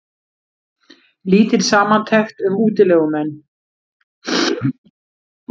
Lítil samantekt um útilegumenn